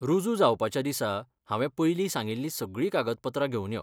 रुजू जावपाच्या दिसा हांवें पयलीं सांगिल्ली सगळी कागदपत्रां घेवन यो.